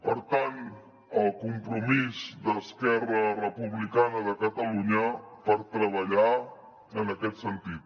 per tant el compromís d’esquerra republicana de catalunya per treballar en aquest sentit